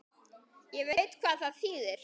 Ég veit hvað það þýðir.